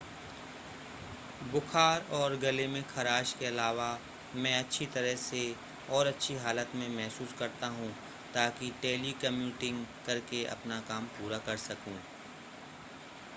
बुखार और गले में खराश के अलावा मैं अच्छी तरह से और अच्छी हालत में महसूस करता हूं ताकि टेलीकम्युटिंग करके अपना काम पूरा कर सकूं